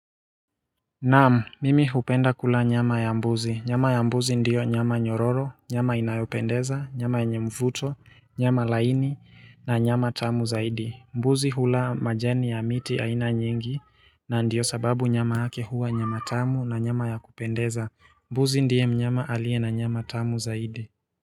Naam, mimi hupenda kula nyama ya mbuzi. Nyama ya mbuzi ndiyo nyama nyororo, nyama inayopendeza, nyama yenye mvuto, nyama laini na nyama tamu zaidi. Mbuzi hula majani ya miti aina nyingi na ndiyo sababu nyama hake huwa nyama tamu na nyama ya kupendeza. Mbuzi ndiye mnyama alie na nyama tamu zaidi.